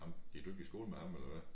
Ham gik du ikke i skole med ham eller hvad?